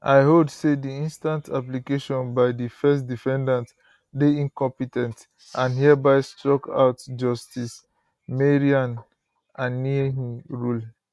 i hold say di instant application by di first defendant dey incompe ten t and hereby struck out justice maryanne anenih rule